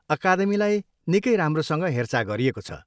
अकादमीलाई निक्कै राम्रोसँग हेरचाह गरिएको छ।